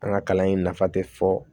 An ka kalan in nafa tɛ fɔ